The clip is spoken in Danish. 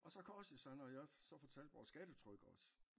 Og så korsede de sig når jeg så fortalte vores stattetryk også